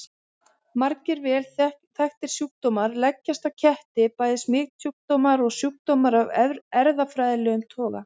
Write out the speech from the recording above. Margir vel þekktir sjúkdómar leggjast á ketti, bæði smitsjúkdómar og sjúkdómar af erfðafræðilegum toga.